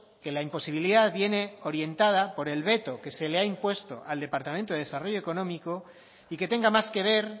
que la imposibilidad viene orientada por el veto que se le ha impuesto al departamento de desarrollo económico y que tenga más que ver